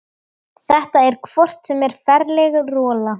Þetta er hvort sem er ferleg rola.